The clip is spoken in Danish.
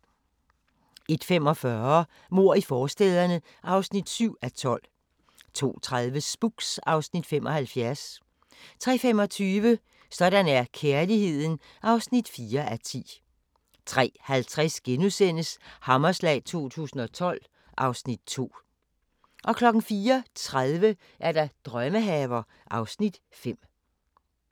01:45: Mord i forstæderne (7:12) 02:30: Spooks (Afs. 75) 03:25: Sådan er kærligheden (4:10) 03:50: Hammerslag 2012 (Afs. 2)* 04:30: Drømmehaver (Afs. 5)